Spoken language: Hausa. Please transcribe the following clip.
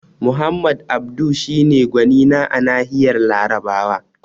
Muhammad Abdu shi ne gwanina a nahiyar Larabawa